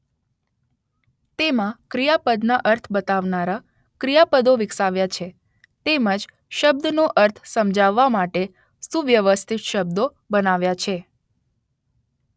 તેમાં ક્રિયાપદના અર્થ બતાવનારાં ક્રિયાપદો વિકસાવ્યા છે તેમજ શબ્દનો અર્થ સમજાવવા માટે સુવ્યવસ્થિત શબ્દો બનાવ્યા છે.